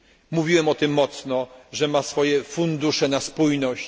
Mówiłem stanowczo, że ma swoje fundusze na spójność.